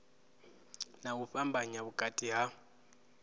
na u fhambanya vhukati ha